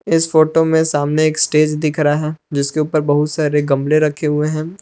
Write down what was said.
इस फोटो में सामने एक स्टेज दिख रहा है जिसके ऊपर बहुत सारे गमले रखे हुए हैं।